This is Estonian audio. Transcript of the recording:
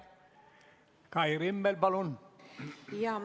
Kai Rimmel, palun!